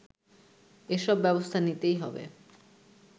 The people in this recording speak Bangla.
এসব ব্যবস্থা নিতেই হবে